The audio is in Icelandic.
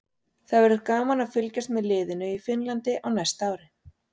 Það verður gaman að fylgjast með liðinu í Finnlandi á næsta ári.